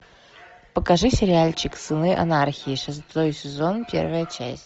покажи сериальчик сыны анархии шестой сезон первая часть